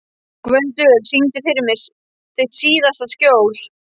Gvöndur, syngdu fyrir mig „Þitt síðasta skjól“.